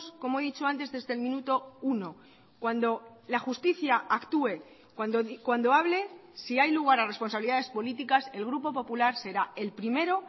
como he dicho antes desde el minuto uno cuando la justicia actúe cuando hable si hay lugar a responsabilidades políticas el grupo popular será el primero